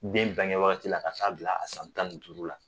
Den bange wagati la ka taaa bila a san tan ni duuru la